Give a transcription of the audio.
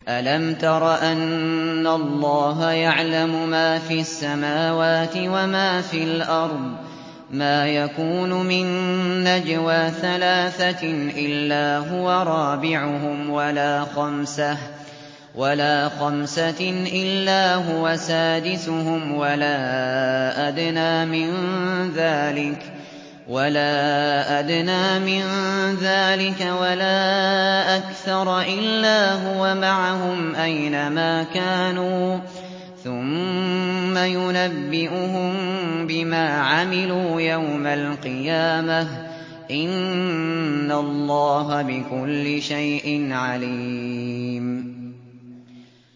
أَلَمْ تَرَ أَنَّ اللَّهَ يَعْلَمُ مَا فِي السَّمَاوَاتِ وَمَا فِي الْأَرْضِ ۖ مَا يَكُونُ مِن نَّجْوَىٰ ثَلَاثَةٍ إِلَّا هُوَ رَابِعُهُمْ وَلَا خَمْسَةٍ إِلَّا هُوَ سَادِسُهُمْ وَلَا أَدْنَىٰ مِن ذَٰلِكَ وَلَا أَكْثَرَ إِلَّا هُوَ مَعَهُمْ أَيْنَ مَا كَانُوا ۖ ثُمَّ يُنَبِّئُهُم بِمَا عَمِلُوا يَوْمَ الْقِيَامَةِ ۚ إِنَّ اللَّهَ بِكُلِّ شَيْءٍ عَلِيمٌ